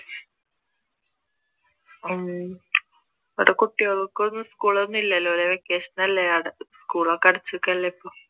ഉം ഇവിടെ കുട്ടികളൊക്കെ school ഒന്നും ഇല്ലല്ലോ അല്ലെ vacation ഒക്കെ അടച്ചേക്കുവാല്ലേ ഇപ്പൊ